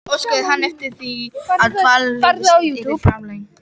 Óskaði hann eftir því, að dvalarleyfi sitt yrði framlengt.